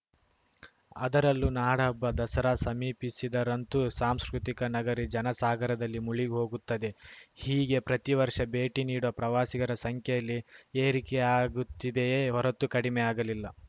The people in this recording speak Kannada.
ಅದರಲ್ಲೂ ನಾಡಹಬ್ಬ ದಸರಾ ಸಮೀಪಿಸಿದರಂತೂ ಸಾಂಸ್ಕೃತಿಕ ನಗರಿ ಜನಸಾಗರದಲ್ಲಿ ಮುಳುಗಿ ಹೋಗುತ್ತದೆ ಹೀಗೆ ಪ್ರತಿವರ್ಷ ಭೇಟಿ ನೀಡುವ ಪ್ರವಾಸಿಗರ ಸಂಖ್ಯೆಯಲ್ಲಿ ಏರಿಕೆಯಾಗುತ್ತಿದೆಯೇ ಹೊರತು ಕಡಿಮೆಯಾಗಲಿಲ್ಲ